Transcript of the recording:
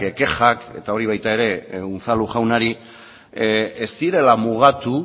kexak eta hori baita ere unzalu jaunari ez direla mugatu